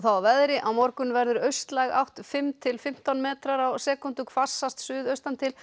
að veðri á morgun verður austlæg átt fimm til fimmtán metrar á sekúndu hvassast suðaustan til